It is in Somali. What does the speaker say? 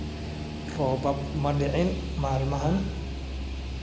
Roobab ma dicin maalmahan